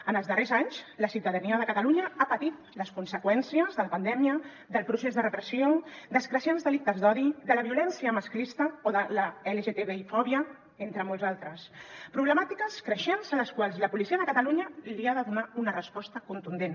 en els darrers anys la ciutadania de catalunya ha patit les conseqüències de la pandèmia del procés de repressió dels creixents delictes d’odi de la violència masclista o de la lgtbi fòbia entre molts altres problemàtiques creixents a les quals la policia de catalunya ha de donar una resposta contundent